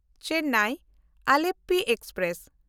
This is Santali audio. ᱪᱮᱱᱱᱟᱭ–ᱟᱞᱮᱯᱯᱤ ᱮᱠᱥᱯᱨᱮᱥ